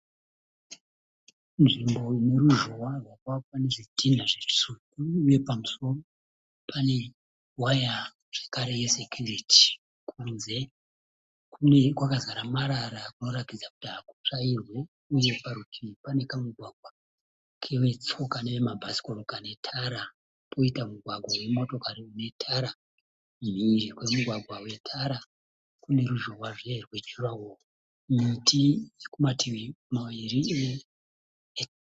Nzvimbo ineruzhowa rwakavakwa nezvidhinha zvitsvuku uye pamusoro pane waya zvakare yeSecurity. Kunze kwakazara marara kunoratidza kuti hakutsvairwi uye parutivi pane kamugwagwa kevetsoka nevemabhasikoro kane tara. Poita mugwagwa wemotokari unetara. Mhiri kwemugwagwa wetara kuneruzhowazve rwejurawo. Miti irikumativi maviri.